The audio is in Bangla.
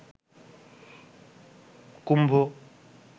কুম্ভ